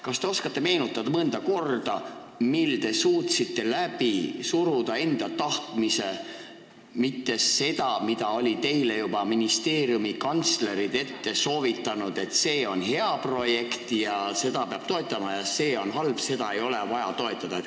Kas te oskate öelda mõnda korda, mil te suutsite läbi suruda enda tahtmise, mitte ei teinud seda, mida olid juba ministeeriumi kantslerid teile soovitanud, et see on hea projekt ja seda peab toetama, ja see on halb, seda ei ole vaja toetada?